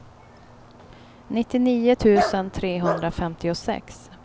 nittionio tusen trehundrafemtiosex